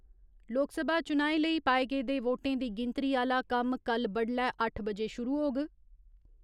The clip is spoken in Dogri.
लोकसभा चुनाएं लेई पाए गेदे वोटें दी गिनतरी आह्‌ला कम्म कल्ल बडलै अट्ठ बजे शुरू होग।